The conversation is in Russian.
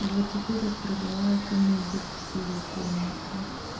и вот теперь распродала эту мебель с её комнаты